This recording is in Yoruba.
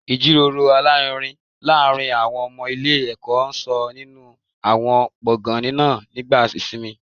Ìjíròrò alárinrin láàárín àwọn ọmọ ilé ẹ̀kọ́ ń sọ nínú àwọn gbọ̀ngàn náà nígbà ìsinmi